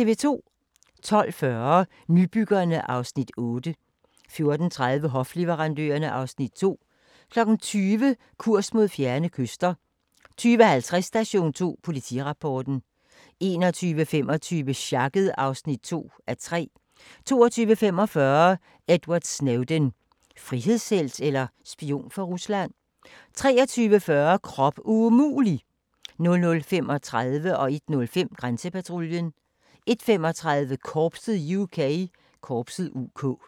12:40: Nybyggerne (Afs. 8) 14:30: Hofleverandørerne (Afs. 2) 20:00: Kurs mod fjerne kyster 20:50: Station 2: Politirapporten 21:25: Sjakket (2:3) 22:45: Edward Snowden - frihedshelt eller spion for Rusland? 23:40: Krop umulig! 00:35: Grænsepatruljen 01:05: Grænsepatruljen 01:35: Korpset (UK)